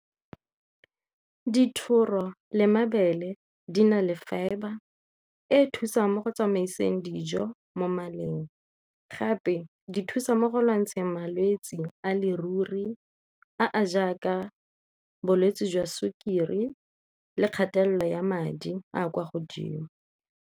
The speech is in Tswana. Dithoro le mabele di na le fibre e e thusang mo go tsamaiseng dijo mo maleng gape di thusa mo go lwantsheng malwetse a le ruri a a jaaka bolwetse jwa sukiri le kgatelelo ya madi a kwa godimo.